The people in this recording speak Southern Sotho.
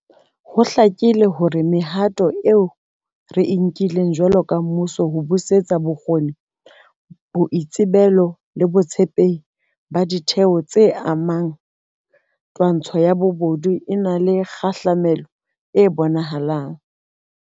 Ho hlakile hore mehato eo re e nkileng jwalo ka mmuso ho busetsa bokgoni, boitsebelo le botshepehi ba ditheo tse amehang twantshong ya bobodu e na le kgahlamelo e bonahalang.